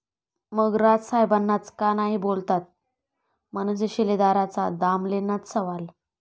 ...मग राज साहेबांनाच का नाही बोललात?, मनसे शिलेदाराचा दामलेंनाच सवाल